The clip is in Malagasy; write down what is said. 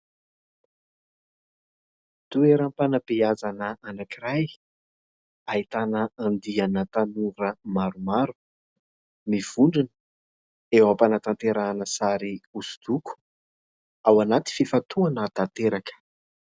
Toeram-panabeazana anankiray ahitana andiana tanora maromaro mivondrona eo ampanatanterahana sary hosodoko, ao anaty fifantohana tanteraka.